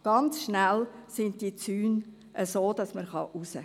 Die Zäune seien ganz schnell so, dass man raus könne.